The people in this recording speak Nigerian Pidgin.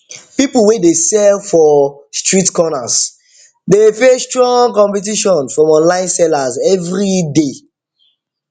people wey dey sell for dey sell for street corners dey face strong competition from online sellers every day